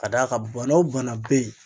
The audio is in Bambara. Ka d'a kan bana o bana bɛ yen.